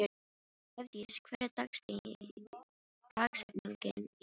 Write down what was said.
Hofdís, hver er dagsetningin í dag?